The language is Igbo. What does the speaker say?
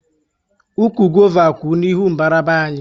Ụkwụ gova kwú n'ihu mbara be anyị